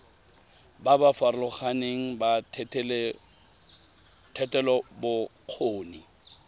ba ba farologaneng ba thetelelobokgoni